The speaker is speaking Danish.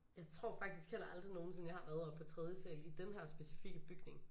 Jeg tror faktisk heller aldrig nogensinde jeg har været oppe på tredje sal i denne her specifikke bygning